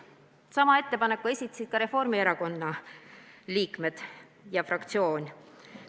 Sama ettepaneku esitas Reformierakonna fraktsioon.